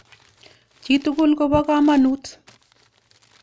Chi tukul kopo kamanut.